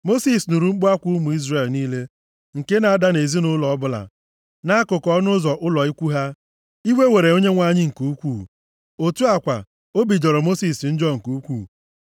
Mosis nụrụ mkpu akwa ụmụ Izrel niile, nke na-ada nʼezinaụlọ ọbụla nʼakụkụ ọnụ ụzọ ụlọ ikwu ha. Iwe were Onyenwe anyị nke ukwuu. Otu a kwa, obi jọrọ Mosis njọ nke ukwuu.